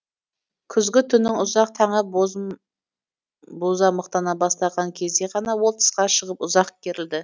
күзгі түннің ұзақ таңы бозамықтана бастаған кезде ғана ол тысқа шығып ұзақ керілді